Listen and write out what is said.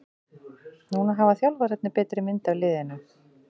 Núna hafa þjálfararnir betri mynd af liðinu.